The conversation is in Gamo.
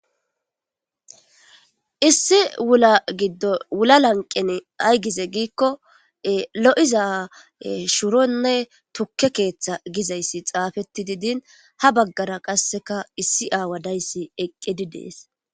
Issi wula lanqen ayi gize giikko lo'iza shuronne tukke keeththa gizayssi xaafettidi diin ha baggara qassi issi aawa dayssi eqqidi deessi.